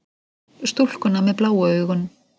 Stúlkuna með bláu augun.